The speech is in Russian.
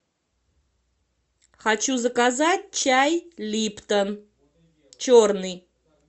хочу заказать чай липтон черный